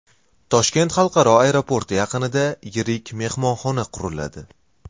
Toshkent xalqaro aeroporti yaqinida yirik mehmonxona quriladi.